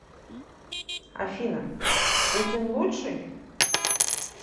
афина путин лучший